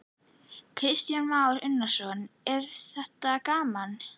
Kristján Már Unnarsson: Er þetta gaman?